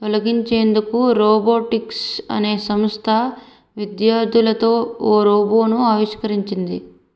తొలగించేందుకు రోబోటిక్స్ అనే సంస్థ విద్యార్థులతో ఓ రోబోను ఆవిష్కరించింది